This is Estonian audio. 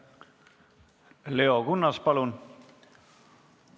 Leo Kunnas, palun!